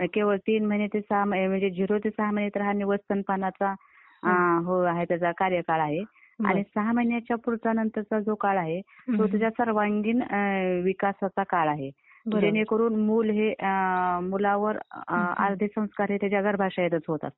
केवळ तीन महिने ते सहा महिने म्हणजे झिरो ते सहा महिने व स्तनपानांचा जो काळ आहे जो त्याचा कार्यकाळ आहे आणि सहा महिन्याच्या पुढचा नंतरचा जो काळ आहे तो त्याच्या सर्वांगीण विकासाचा काळ आहे, जेणेकरून मुल हे .. मुलांवर अर्धे संस्कार हे त्याच्या गर्भाशयातच होत असतात.